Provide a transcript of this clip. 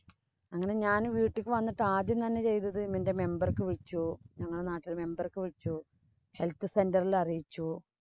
അങ്ങനെ ഞാന്‍ വീട്ടിക്ക് വന്നിട്ട് ആദ്യം ചെയ്തത് എന്‍റെ member ക്ക് വിളിച്ചു. ഞങ്ങടെ നാട്ടിലെ member ക്ക് വിളിച്ചു. health center ഇല്‍ അറിയിച്ചു.